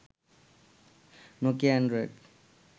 Nokia Android